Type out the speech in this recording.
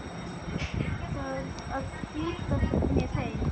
Þarf að flýta mér heim.